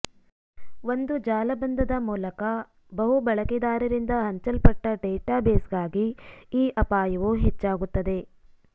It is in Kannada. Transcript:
ಒಂದು ಜಾಲಬಂಧದ ಮೂಲಕ ಬಹು ಬಳಕೆದಾರರಿಂದ ಹಂಚಲ್ಪಟ್ಟ ಡೇಟಾಬೇಸ್ಗಾಗಿ ಈ ಅಪಾಯವು ಹೆಚ್ಚಾಗುತ್ತದೆ